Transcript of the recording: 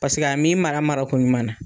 Paseke a min mara mara ko ɲuman na